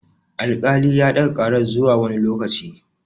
Al-kali ya ɗaga karar zuwa wani lokaci